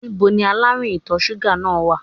Ní bo ni aláàrùn ìtọ̀ súgà náà wà?